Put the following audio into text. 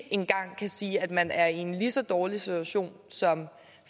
engang kan sige at man er i en lige så dårlig situation som